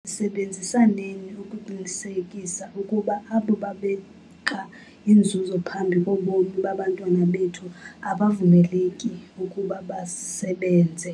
sisebenzisaneni ukuqinisekisa ukuba abo babeka inzuzo phambi kobomi babantwana bethu abavumeleki ukuba basebenze.